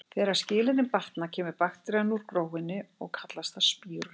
Þegar skilyrðin batna kemur bakterían úr gróinu og kallast það spírun.